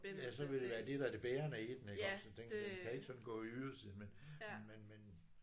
Ja så vil det være det der er det bærende i den iggås at den frn kan ikke sådan gå i ydersiden men men men